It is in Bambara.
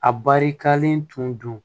A barikalen tun don